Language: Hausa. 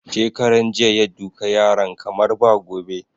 Shekaran jiya ya duka yaran kamar ba gobe